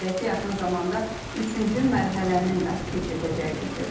Qeyd edək ki, yaxın zamanda üçüncü mərhələnin də keçiriləcəyi bildirilir.